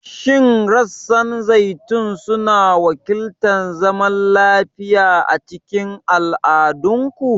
Shin rassan zaitun suna wakiltar zaman lafiya a cikin al'adunku?